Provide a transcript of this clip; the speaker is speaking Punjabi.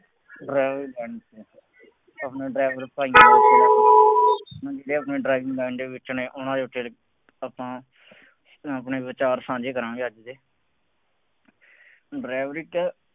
ਡਰਾਈਵਰ ਯਾਨੀ ਕਿ ਆਪਣਾ driver ਭਾਈਆਂ ਹੁਣ ਜਿਹੜੇ ਬੰਦੇ driving line ਦੇ ਵਿੱਚ ਨੇ ਉਹਨਾ ਦੇ ਫੇਰ ਆਪਾਂ ਹੁਣ ਆਪਣੇ ਵਿਚਾਰ ਸਾਂਝੇ ਕਰਾਂਗੇ ਅੱਜ ਤੇ, driver ਇੱਕ